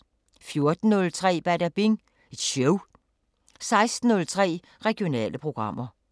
14:03: Badabing Show 16:03: Regionale programmer